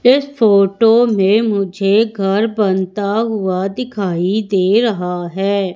इस फोटो में मुझे घर बनता हुआ दिखाई दे रहा है।